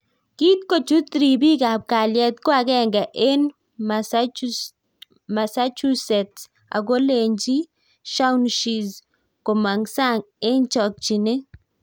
Kiit kochuut ripik ap kalyet ko agenge eng Massachusetts ago lenjii Shaun shizz komang sang eng chakchineet